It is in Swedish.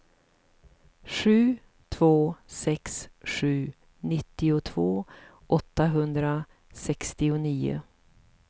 sju två sex sju nittiotvå åttahundrasextionio